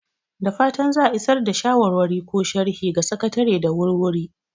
Da fatan za a isar da shawarwari ko sharhi ga Sakatare da wuri-wuri!